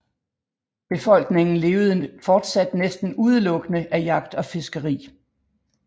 Befolkningen levede fortsat næsten udelukkende af jagt og fiskeri